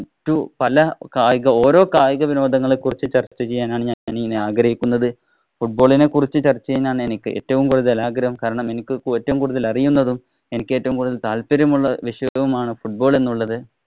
മറ്റു പല കായിക വിനോദങ്ങളെ കുറിച്ചും, പല കായിക വിനോദങ്ങളെ കുറിച്ചും ചര്‍ച്ച ചെയ്യാനാണ് ഞാന്‍ ഇനി ആഗ്രഹിക്കുന്നത്. Football ഇനെ കുറിച്ച് ചര്‍ച്ച ചെയ്യാനാണ് എനിക്ക് ഏറ്റവും കൂടുതല്‍ ആഗ്രഹം. കാരണം എനിക്ക് ഏറ്റവും കൂടുതല്‍ അറിയുന്നതും എനിക്ക് ഏറ്റവും കൂടുതല്‍ താല്പര്യമുള്ള വിഷയവുമാണ് football എന്നുള്ളത്.